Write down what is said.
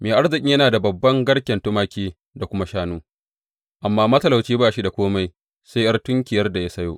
Mai arzikin yana da babban garken tumaki, da kuma shanu, amma matalauci ba shi da kome sai ’yar tunkiyar da ya sayo.